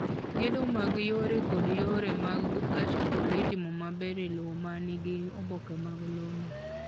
Gedo mag yore kod yore mag gach okolo itimo maber e lowo ma nigi oboke mag lowono.